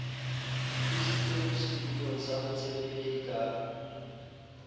tlositswe setulong sa botshepehi ka